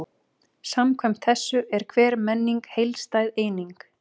Koggi, hvernig verður veðrið á morgun?